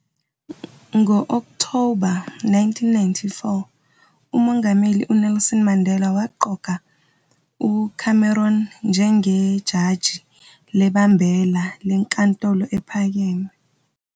Ngo-Okthoba 1994, uMongameli uNelson Mandela waqoka uCameron njengejaji lebambela leNkantolo ePhakeme